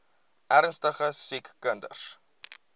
ernstige siek kinders